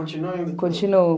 continua indo? continuo.